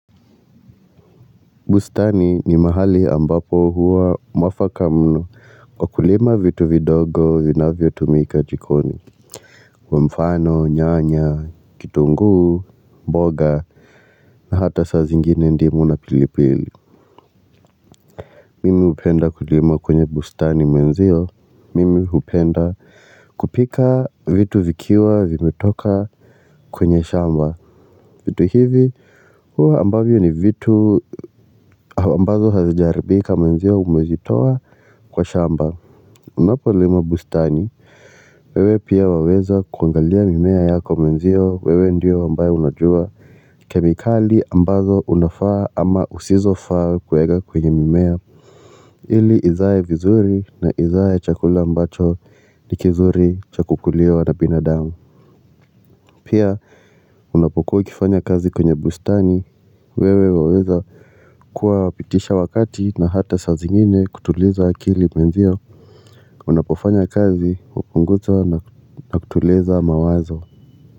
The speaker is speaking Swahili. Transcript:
Bustani ni mahali ambapo huwa mwafaka mno kwa kulima vitu vidogo vina vyo tumika jikoni mfano nyanya kitunguu mboga na hata saa zingine ndimu na pilipili Mimi hupenda kulima kwenye bustani mwenzio mimi hupenda kupika vitu vikiwa vimetoka kwenye shamba. Vitu hivi huwa ambavyo ni vitu ambazo hazijaribika mwenzio umezitoa kwa shamba. Unapolima bustani wewe pia waweza kuangalia mimea yako mwenzio wewe ndio ambayo unajua kemikali ambazo unafaa ama usizo faa kwega kwenye mimea ili izae vizuri na izae chakula ambacho nikizuri chakukuliwa na binadamu. Pia Unapokuwa ukifanya kazi kwenye bustani wewe waweza kuwa pitisha wakati na hata sa zingine kutuliza akili mwenzio Unapofanya kazi hupunguza na kutuliza mawazo.